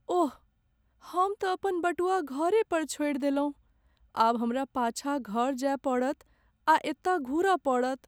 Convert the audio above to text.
ओह, हम तँ अपन बटुआ घरे पर छोड़ि देलहुँ। आब हमरा पाछाँ घर जाय पड़त आ एतऽ घुरय पड़त।